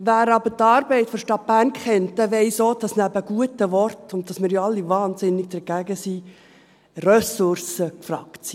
Wer aber die Arbeit der Stadt Bern kennt, der weiss auch, dass neben guten Worten und daneben, dass wir ja alle wahnsinnig dagegen sind, Ressourcen gefragt sind.